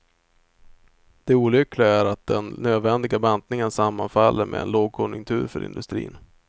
Det olyckliga är att den nödvändiga bantningen sammanfaller med en lågkonjunktur för industrin.